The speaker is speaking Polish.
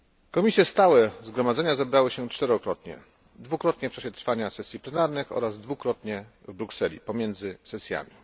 Komisje stałe Zgromadzenia zebrały się czterokrotnie dwukrotnie w czasie trwania sesji plenarnych oraz dwukrotnie w Brukseli, pomiędzy sesjami.